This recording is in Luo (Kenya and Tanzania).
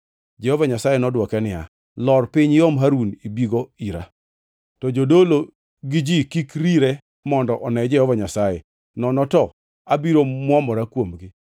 Jehova Nyasaye nodwoke niya, “Lor piny iom Harun ibigo ira. To jodolo gi ji kik rire mondo one Jehova Nyasaye, nono to abiro mwomora kuomgi.”